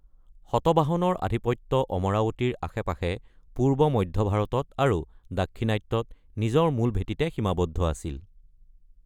শতবাহনৰ আধিপত্য অমৰাৱতীৰ আশে-পাশে পূৰ্ব মধ্য ভাৰতত আৰু দাক্ষিণাত্যত নিজৰ মূল ভেটীতে সীমাবদ্ধ আছিল।